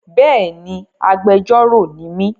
Bẹ́ẹ̀ni, agbejórò ni mí